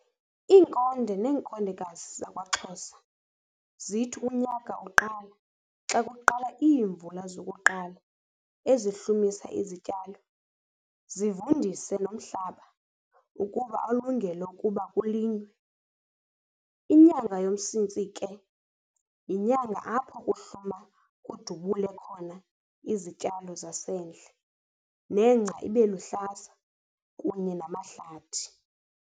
Iinkonde nenkondekazi zakwaXhosa zithi unyaka uqala xa kuqala iimvula zokuqala ezihlumisa izityalo zivundise nomhlaba ukuba alungele ukuba kulinywe. Inyanga yoMsintsi ke yinyanga apho kuhluma kudubule khona izityalo zasendle, nengca ibeluhlaza kunye namahlathi.